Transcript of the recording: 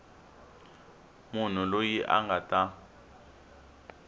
munhu loyi a nga ta